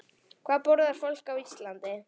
Hvað borðar fólk á Íslandi?